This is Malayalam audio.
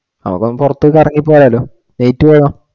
അവൻ പുറത്തു കറങ്ങി പോയാലോ